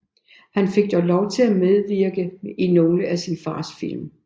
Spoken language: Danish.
Han fik dog lov til at medvirke i nogle af sin fars film